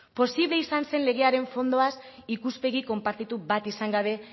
posible izan zen legearen fondoaz ikuspegi konpartitu bat izan gabe